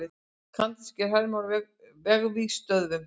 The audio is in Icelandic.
Kanadískir hermenn á vesturvígstöðvunum.